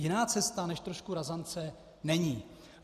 Jiná cesta než trošku razance není.